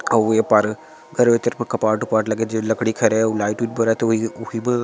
अऊ ए पार घर ऊपर कपाट उपाट लगे हे जे लकड़ी के लगे हे अऊ लाइट उईट बरत हे उहि ब--